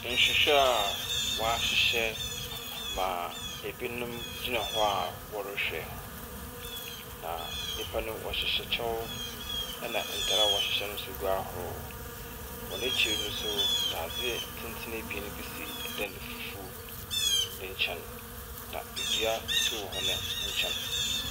Nhwehwɛ a wɔahyehyɛ ma ebinom gyina hɔ a wɔrehwɛ. Na nnipa no wɔhyehyɛ kyɛw na ntar a wɔhyeyɛ no nso gu ahorow. Wɔn akyir no nso, dadze tenten abien bi si dan fufuw ne nyɛn. Na dua so wɔ hɔn nkyɛn.